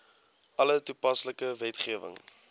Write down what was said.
alle toepaslike wetgewing